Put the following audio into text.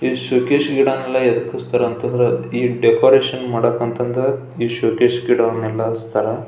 ಈ ಶೋಕೇಸ್ ಗಿಡ ನ್ನೆಲ್ಲ ಏಕ್ ಕೂರಿಸ್ತಾರೆ ಅಂತಂದ್ರೆ ಈ ಡೆಕೋರೇಷನ್ ಮಾಡಾಕೆ ಅಂತಂದ್ರೆ ಈ ಶೋಕೇಸ್ ಗಿಡ ವನ್ನೆಲ್ಲ ಇಡ್ತಾರೆ.